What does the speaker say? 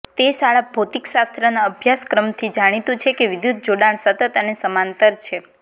તે શાળા ભૌતિકશાસ્ત્રના અભ્યાસક્રમથી જાણીતું છે કે વિદ્યુત જોડાણ સતત અને સમાંતર છે